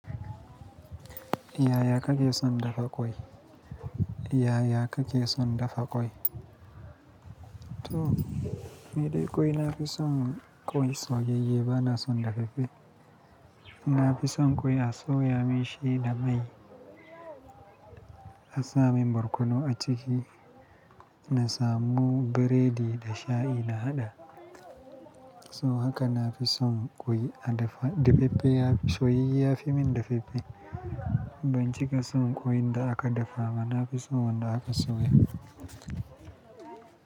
Yaya kake son dafa ƙwai? Yaya kake son dafa ƙwai? To, ni dai ƙwai nafi son ƙwai soyayye ba na son dafaffe. Na fi son ƙwai a soya min shi da mai, a sa min borkono a ciki, na samu biredi da shayi na haɗa. So haka nafi son ƙwai a dafa, dafaffe yafi soyayye yafi min dafaffe. Ban cika son ƙwai da aka dafa ba, nafi son wanda aka soya.